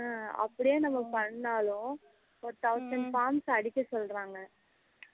ஹம் அப்படியே நம்ம பண்ணுனாலும் ஒரு thousand forms அடிக்க சொல்லுறாங்க